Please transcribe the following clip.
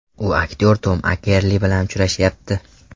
U aktyor Tom Akerli bilan uchrashyapti.